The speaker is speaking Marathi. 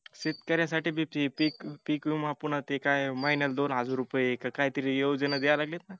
शेतक-यासाठी बी ती पिक पीक विमा पुन्हा ते काय महिन्याला दोन हजार रुपये का काहीतरी योजना द्याय लागलेत ना